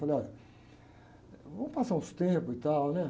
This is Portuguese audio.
Falei, olha, vamos passar uns tempos e tal, né?